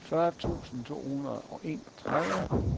fyrre tusind to hundrede og enogtredive